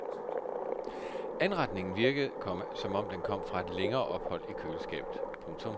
Anretningen virkede, komma som om den kom fra et længere ophold i køleskabet. punktum